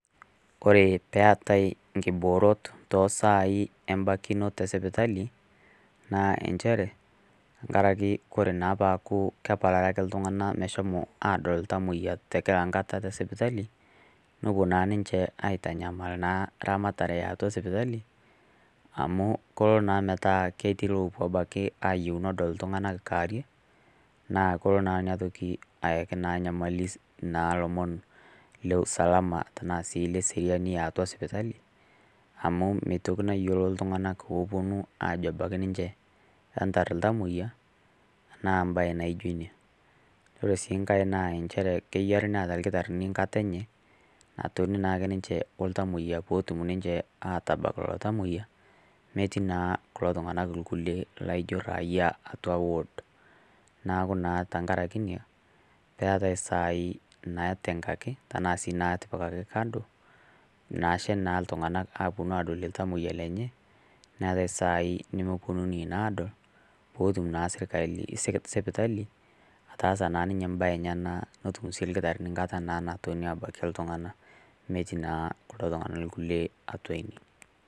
oree eetai inkiboorot too sai embakinot e sipitali naa nchere tengaraki oree naa peeku kepalari iltungana moshomo adol itamoyia tengirakata esipitali nepuo naa ninche aitanyamal naa eramatare eatuo e sipitali amu keloo naa ometaa keti rules ebaki keyiou nedol iltungana kaarie naa kelo naa nepiki nyamali naa lomoon le usalama tena sii le seriani tiatua sipitali amu metokii naa ayiolou iltungana oponu ebaki ninche naa ketar iltamoyia naa embae naijo ina oree sii enkai naa ketaa ilkitarini enkata enye natoni naa ake ninche oltamoyia peetum ninche atabaaak lelo tamoyia metii naa kulo tunganak kulie laijo raia atua ward neeku naa tenkaraki ina neetai iisai naitengaki ashuu naa naatipikaki kando naashe na iltunganak aponu adol iltamoyia lenye neetai isaii nemeponunui naa adol peetum naa sipitali ataasa naa ninye embae enyenak netum sii ilkitarini enkata naponu abakie iktunganak metii naa kulo tunganak kulieatua ine